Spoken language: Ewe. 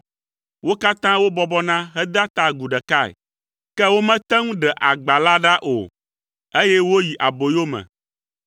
Wo katã wobɔbɔna hedea ta agu ɖekae, ke womete ŋu ɖe agba la ɖa o, eye woyi aboyome.